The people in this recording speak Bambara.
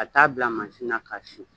Ka taa a bila masin na ka sin